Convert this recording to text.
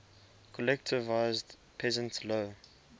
collectivized peasants low